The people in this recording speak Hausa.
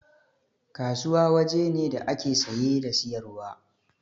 Kasuwa waje ne da ake saye da siyarwa